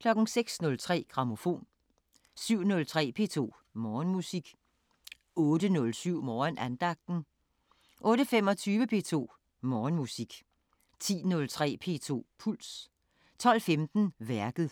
06:03: Grammofon 07:03: P2 Morgenmusik 08:07: Morgenandagten 08:25: P2 Morgenmusik 10:03: P2 Puls 12:15: Værket